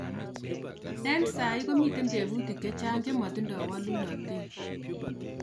engsai komiita tebutik chechang chemotindoi walunatei